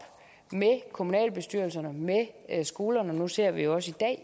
med kommunalbestyrelserne med skolerne nu ser vi jo også